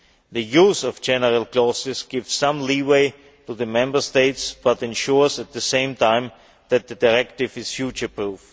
The use of general clauses gives some leeway to the Member States but ensures, at the same time, that the directive is future proof.